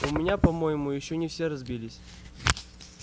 у меня по-моему ещё не все разбились